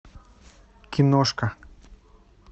киношка